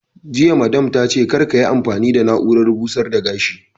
Jiya Madame ta ce 'Kar kiyi amfani da na'urar busar da gashi'!